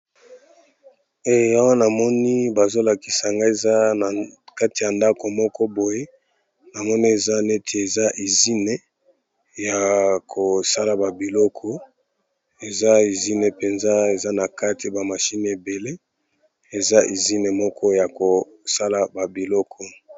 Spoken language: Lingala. Eee awa namoni bazolakisangayi eza nakati yandako mokoboye namoni eza neti izine yaa kosala babiloko eza ezine penza ezanakati ba machine ebele eza ezine yakosala babiloko moko